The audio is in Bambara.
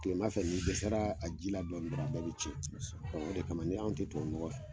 Kile ma fɛ ni dɛsɛra a ji la dɔrɔn a bɛɛ bi tiɲɛ , ɔn o de kama an te tubabu nɔgɔ fɛ.